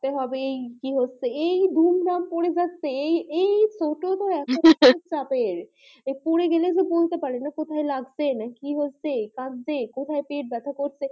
তে হবেই কে হচ্ছে এই দুম দাম পরে যাচ্ছে এই এই হা হা হা চাপের তো পরে গালে যে বলতে পারে না কোথায় লাগছে না কি হচ্ছে কাঁদছে কোথায় পেট ব্যাথা করছে